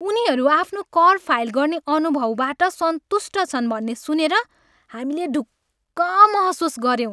उनीहरू आफ्नो कर फाइल गर्ने अनुभवबाट सन्तुष्ट छन् भन्ने सुनेर हामीले ढुक्क महसुस गऱ्यौँ।